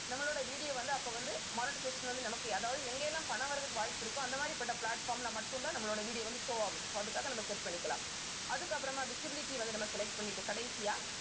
நம்மளோட video வந்து அப்ப வந்து monetization வந்து நமக்கு அதாவது எங்கெல்லாம் பணம் வர்றதுக்கு வாய்ப்பு இருக்கோ அந்த மாதிரிபட்ட platform ல மட்டும்தான் நம்மளோட video வந்து show ஆகும் so அதுக்காக நம்ம set பண்ணிக்கலாம். அதுக்கப்புறமா visibility வந்து நம்ம select பண்ணிட்டு கடைசியா